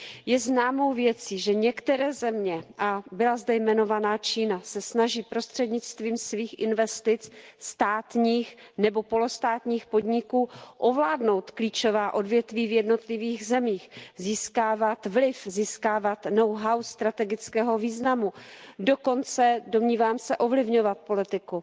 Je známou věcí, že některé země a byla zde jmenovaná Čína se snaží prostřednictvím svých investic státních nebo polostátních podniků ovládnout klíčová odvětví v jednotlivých zemích, získávat vliv, získávat know how strategického významu, dokonce, domnívám se, ovlivňovat politiku.